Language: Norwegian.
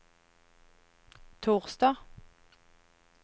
torsdag